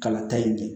Kala ta ye bi